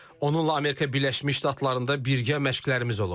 Onunla Amerika Birləşmiş Ştatlarında birgə məşqlərimiz olub.